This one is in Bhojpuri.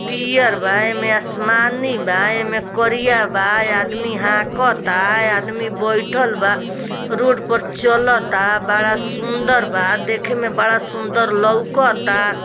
पियर बा एमे आसमानी बा एमें करिया बा आदमी हाकाता आदमी बैठल बा रोड पर चलाता बड़ा सुंदर बा देख में बड़ा सुंदर लोकाता।